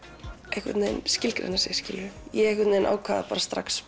það skilgreina sig ég ákvað strax